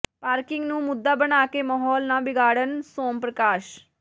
parking ਨੂੰ ਮੁੱਦਾ ਬਣਾ ਕੇ ਮਾਹੌਲ ਨਾ ਵਿਗਾੜਨ ਸੋਮ ਪ੍ਰਕਾਸ਼